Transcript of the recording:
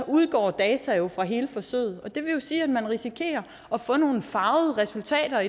udgår data fra hele forsøget det vil jo sige at man risikerer at få nogle farvede resultater